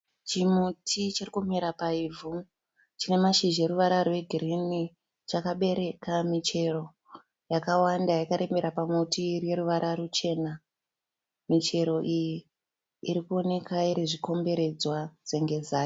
Chimuti chirikumera paivhu. Chinemashizha eruvara rwegirini. Chakabereka michero yakawanda yakarembera pamuti ineruvara ruchena. Michero iyi irikuoneka irizvikomberedzwa senge zai.